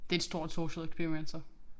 Det et stort social experiment så